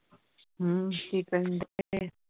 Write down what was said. ਹਮ ਕਿ ਕਰਨ ਹੈ